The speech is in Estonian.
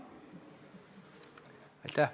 Aitäh!